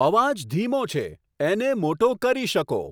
અવાજ ધીમો છે એને મોટો કરી શકો